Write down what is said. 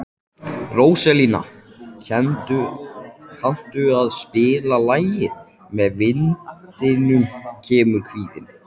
Róselía, kanntu að spila lagið „Með vindinum kemur kvíðinn“?